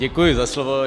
Děkuji za slovo.